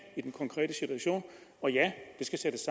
i den konkrete situation og ja det skal sættes